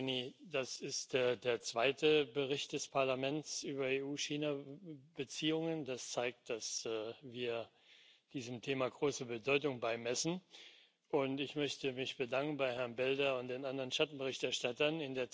Frau Mogherini, das ist der zweite Bericht des Parlaments über EU China Beziehungen. Das zeigt, dass wir diesem Thema größere Bedeutung beimessen, und ich möchte mich bedanken bei Herrn Belder und den anderen Schattenberichterstattern.